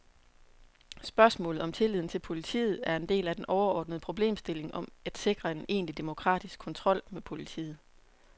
Spørgsmålet om tilliden til politiet er en del af den overordnede problemstilling om at sikre en egentlig demokratisk kontrol med politiet.